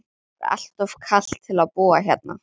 Það er allt of kalt til að búa hérna.